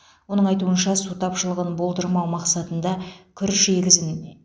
оның айтуынша су тапшылығын болдырмау мақсатында күріш егісін